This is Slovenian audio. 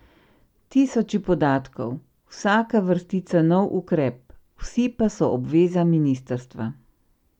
Tisoči podatkov, vsaka vrstica nov ukrep, vsi pa so obveza ministrstva.